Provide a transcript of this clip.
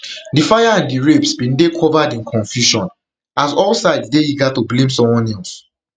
di fire and di rapes bin dey covered in confusion as all sides dey eager to blame someone else